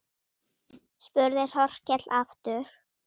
spurði Þórkell aftur.